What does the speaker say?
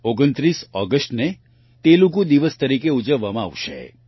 29 ઓગસ્ટને તેલુગુ દિવસ તરીકે ઉજવવામાં આવશે